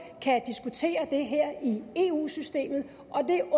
kan diskutere det her i eu systemet